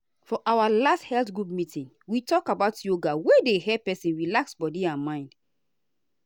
for our last health group meeting we talk about yoga wey dey help person relax body and mind.